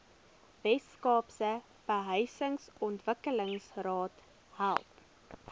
weskaapse behuisingsontwikkelingsraad help